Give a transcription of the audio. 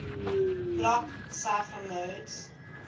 block cipher modes